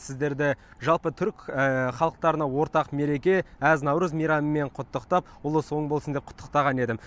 сіздерді жалпы түрік халықтарына ортақ мереке әз наурыз мейрамымен құттықтап ұлыс оң болсын деп құттықтаған едім